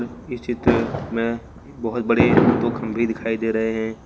इस चित्र में बहुत बड़े दो खंभे दिखाई दे रहे हैं।